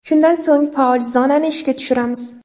Shundan so‘ng faol zonani ishga tushiramiz.